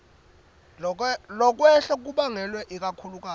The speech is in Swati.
lokwehla kubangelwe ikakhulukati